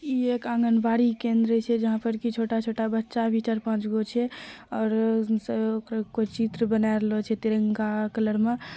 इ एक आँगन बाड़ी केंद्र छैजहां पर छोटा-छोटा बच्चा भी चार पांच गो छैऔर ओकरा कोय चित्र बना रहल छै तिरंगा कलर में।